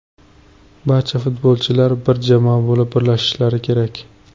Barcha futbolchilar bir jamoa bo‘lib birlashishlari kerak.